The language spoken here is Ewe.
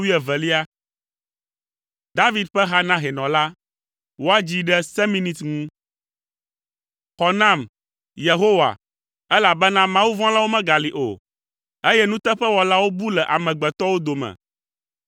David ƒe ha na hɛnɔ la. Woadzii ɖe seminit ŋu. Xɔ nam, Yehowa elabena, mawuvɔ̃lawo megali o, eye nuteƒewɔlawo bu le amegbetɔwo dome.